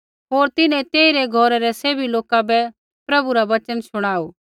होर तिन्हैं तेइरै घौरै रै सैभी लोका बै प्रभु रा वचन शुणाऊ